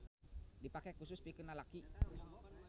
Dipake husus pikeun lalaki.